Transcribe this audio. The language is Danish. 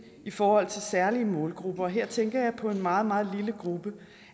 i forhold til særlige målgrupper og her tænker jeg på en meget meget lille gruppe